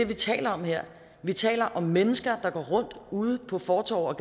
vi taler om her vi taler om mennesker der går rundt ude på fortove og